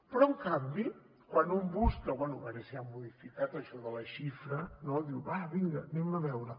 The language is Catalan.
però en canvi quan un busca bé a veure si han modificat això de la xifra no diu va vinga anem a veure